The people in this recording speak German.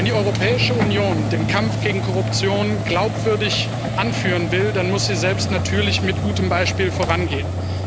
Wenn die Europäische Union den Kampf gegen Korruption glaubwürdig anführen will, dann muss sie selbst natürlich mit gutem Beispiel vorangehen.